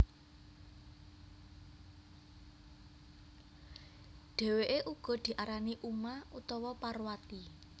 Dhèwèké uga diarani Uma utawa Parwati